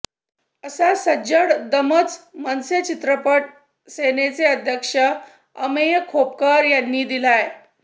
असा सज्जड दमच मनसे चित्रपट सेनेचे अध्यक्ष अमेय खोपकर यांनी दिलाय